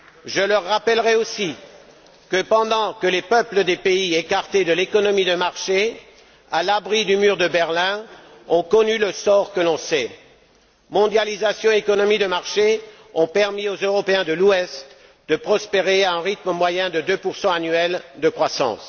Je leur rappellerai aussi que pendant que les peuples des pays écartés de l'économie de marché, à l'abri du mur de Berlin, ont connu le sort que l'on sait, mondialisation et économie de marché ont permis aux Européens de l'Ouest de prospérer à un rythme moyen de 2 annuels de croissance.